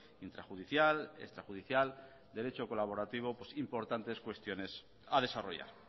intrajudicial extrajudicial derecho colaborativo importantes cuestiones a desarrollar